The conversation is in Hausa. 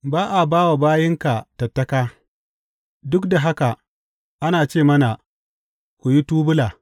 Ba a ba wa bayinka tattaka, duk da haka ana ce mana, Ku yi tubula!’